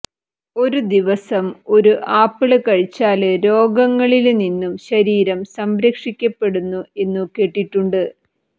ഒരു ദിവസം ഒരു ആപ്പിള് കഴിച്ചാല് രോഗങ്ങളില് നിന്നു ശരീരം സംരക്ഷിക്കപ്പെടുന്നു എന്നു കേട്ടിട്ടുണ്ട്